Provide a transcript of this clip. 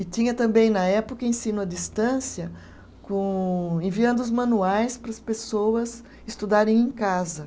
E tinha também, na época, ensino à distância com, enviando os manuais para as pessoas estudarem em casa.